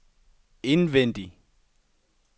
indvendig